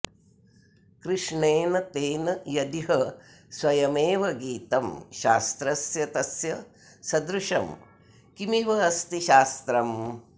कृष्णेन तेन यदिह स्वयमेवगीतं शास्त्रस्य तस्य सदृशं किमिवास्ति शास्त्रम्